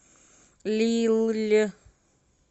лилль